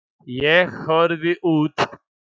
Ég horfi út.